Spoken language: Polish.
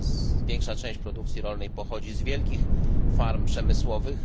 Coraz większa część produkcji rolnej pochodzi z wielkich farm przemysłowych.